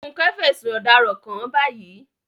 Funke fẹ̀sùn ọ̀daràn kàn án báyìí.